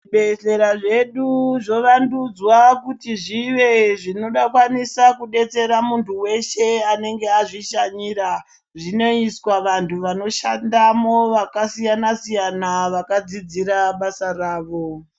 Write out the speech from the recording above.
Zvibhedhlera zvedu zvovandudzwa kuti zvive zvinovabatsira kudetsera muntu weshe anenge azvishanyira zvinoiswa vantu vanoshandamo vakasiyana siyana vakadzidzira basa rawo.